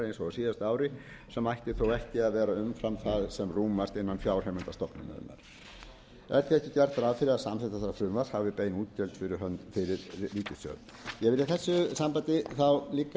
síðasta ári sem ætti þó ekki að vera umfram það sem rúmast innan fjárheimilda stofnunarinnar er því ekki gert ráð fyrir að samþykkt þessa frumvarps hafi bein útgjöld fyrir ríkissjóð ég vil í þessu sambandi líka víkja